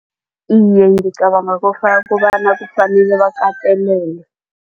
Iye, ngicabanga kobana kufanele bakatelele.